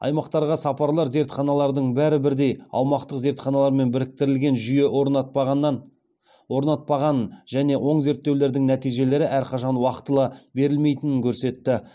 аймақтарға сапарлар зертханалардың бәрі бірдей аумақтық зертханалармен біріктірілген жүйе орнатпағанын және оң зерттеулердің нәтижелері әрқашан уақытылы берілмейтінін көрсетті